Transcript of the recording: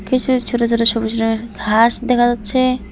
কিছু ছোট ছোট সবুজ রঙের ঘাস দেখা যাচ্ছে।